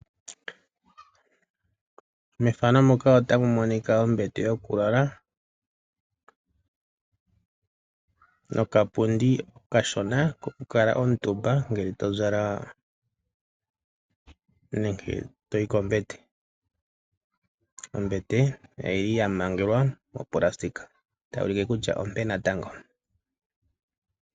Methano muka otamu monika ombete yo ku lala noka pundi okashona kokukala omutumba ngele tozala nenge toyi kombete, ombete oyi li ya mangelwa mopulasitika, otayi ulike kutya ompe natango.